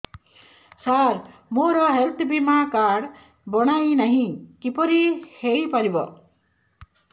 ସାର ମୋର ହେଲ୍ଥ ବୀମା କାର୍ଡ ବଣାଇନାହିଁ କିପରି ହୈ ପାରିବ